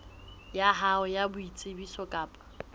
ya hao ya boitsebiso kapa